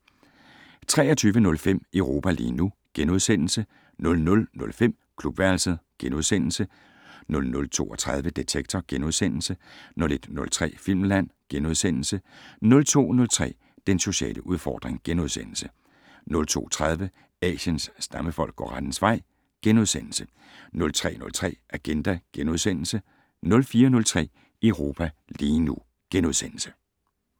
23:05: Europa lige nu * 00:05: Klubværelset * 00:32: Detektor * 01:03: Filmland * 02:03: Den sociale udfordring * 02:30: Asiens stammefolk går rettens vej * 03:03: Agenda * 04:03: Europa lige nu *